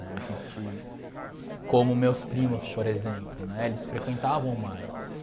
Né, a gente... como meus primos, por exemplo, né, eles frequentavam mais.